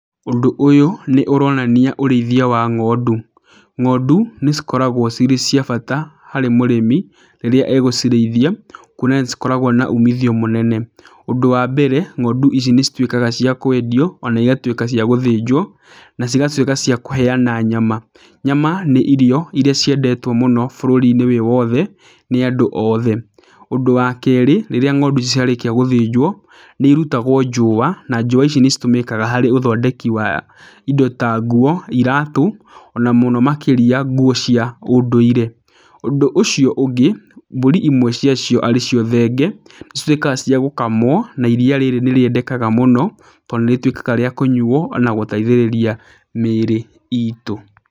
Ũndũ ũyũ, nĩ ũronania ũrĩithia wa ng'ondu. Ng'ondu, nĩ cikoragwo cirĩ cia bata harĩ mũrĩmi, rĩrĩa egũcirĩithia, kuona nĩ cikoragwo na umithio mũnene. Ũnd ũwa mbere, ng'ondu ici nĩ cituĩkaga cia kwendio, ona igatuĩka cia gũthĩnjwo, na cigatuĩka cia kũheana nyama. Nyama nĩ irio irĩa ciendetwo mũno bũrũri-inĩ wĩ wothe, nĩ andũ othe. Ũndũ wa keerĩ, rĩrĩa ng'ondu ici ciarĩkia gũthĩnjwo, nĩ irutagwo njũũa, na njũũa ici nĩ citũmĩkaga harĩ ũthondeki wa indo ta nguo, iratũ, ona mũno makĩria nguo cia ũndũire. Ũndũ ũcio ũngĩ, mbũri imwe cia cio arĩ cio thenge, cituĩkaga cia gũkamwo, na iriia rĩrĩ nĩ rĩendekaga mũno, to nĩ rĩtuĩkaga rĩa kũnyuo, na gũteithĩrĩria mĩĩrĩ itũ.